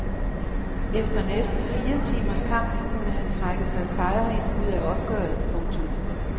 Efter næsten fire timers kamp kunne han trække sig sejrrigt ud af opgøret. punktum